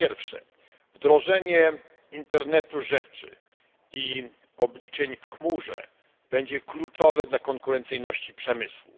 Po pierwsze, wdrożenie internetu rzeczy i obliczeń w chmurze będzie kluczowe dla konkurencyjności przemysłu.